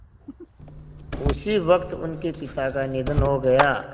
उसी वक़्त उनके पिता का निधन हो गया